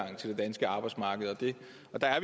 er der